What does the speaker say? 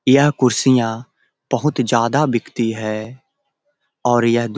यह कुर्सियां बहुत ज्यादा बिकती हैं और यह दू --